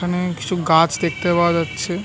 এখানে কিছু গাছ দেখতে পাওয়া যাচ্ছে। ।